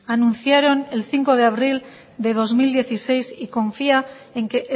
anunciaron el cinco de abril de dos mil dieciséis y confía en que